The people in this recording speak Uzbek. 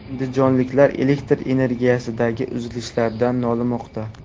Andijonliklar elektr energiyasidagi uzilishlardan nolimoqda.